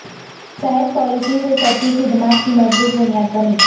صحت پالیسی سے سطحی خدمات کی مضبوط بنیاد بنی